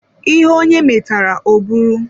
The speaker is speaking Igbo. Ihe onye metara ọ bụrụ.